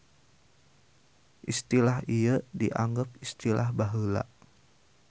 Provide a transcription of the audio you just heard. Istilah ieu dianggep istilah baheula.